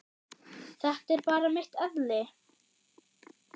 Þetta er bara mitt eðli.